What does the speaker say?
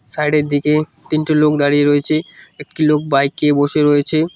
Side -এর দিকে তিনটির লোক দাঁড়িয়ে রয়েছে একটি লোক বাইক -এ বসে রয়েছে।